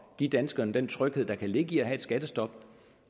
give danskerne den tryghed der kan ligge i at have et skattestop